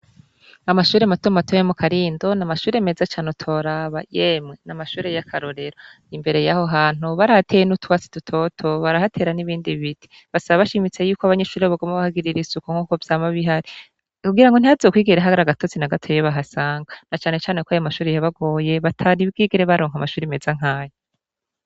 Amashure matomato yo mukarindo n'Amashure meza cane utoraba, yemwe n'Amashure y'akarorero,. Imbere y'aho hantu barahateye n'utwatsi dutoto barahatera n'ibindi biti, Basaba bashimitse yuko abanyeshure boguma bahagirira isuku nkuko vyama bihari kugirango ntihazokwigere har'agatotsi nagatoyi bahasanga Na canecane ko ayomashure yabagoye batari bwigere baronka amashure meza nkayo.